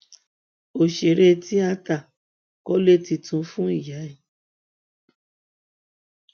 òṣèré tíáta kọlé tuntun fún ìyá ẹ